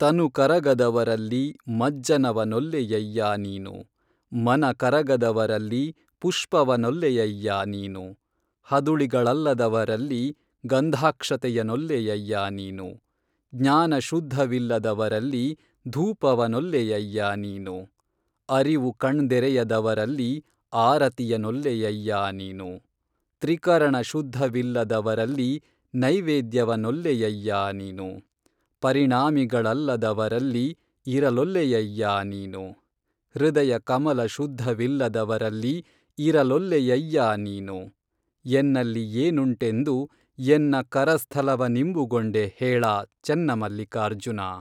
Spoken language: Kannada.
ತನು ಕರಗದವರಲ್ಲಿ ಮಜ್ಜನವನೊಲ್ಲೆಯಯ್ಯಾ ನೀನು, ಮನ ಕರಗದವರಲ್ಲಿ ಪುಷ್ಪವನೊಲ್ಲೆಯಯ್ಯಾ ನೀನು, ಹದುಳಿಗಳಲ್ಲದವರಲ್ಲಿ ಗಂಧಾಕ್ಷತೆಯನೊಲ್ಲೆಯಯ್ಯಾ ನೀನು, ಜ್ಞಾನಶುದ್ಧವಿಲ್ಲದವರಲ್ಲಿ ಧೂಪವನೊಲ್ಲೆಯಯ್ಯಾ ನೀನು, ಅರಿವು ಕಣ್ದೆರೆಯದವರಲ್ಲಿ ಆರತಿಯನೊಲ್ಲೆಯಯ್ಯಾ ನೀನು, ತ್ರಿಕರಣ ಶುದ್ಧವಿಲ್ಲದವರಲ್ಲಿ ನೈವೇದ್ಯವನೊಲ್ಲೆಯಯ್ಯಾ ನೀನು, ಪರಿಣಾಮಿಗಳಲ್ಲದವರಲ್ಲಿ ಇರಲೊಲ್ಲೆಯಯ್ಯಾ ನೀನು, ಹೃದಯ ಕಮಲ ಶುದ್ಧವಿಲ್ಲದವರಲ್ಲಿ ಇರಲೊಲ್ಲೆಯಯ್ಯಾ ನೀನು, ಎನ್ನಲ್ಲಿ ಏನುಂಟೆಂದು ಎನ್ನ ಕರಸ್ಥಲವನಿಂಬುಗೊಂಡೆಹೇಳಾ ಚೆನ್ನಮಲ್ಲಿಕಾರ್ಜುನಾ